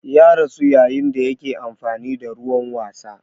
Ya rasu yayin da yake amfani da ruwan wasa.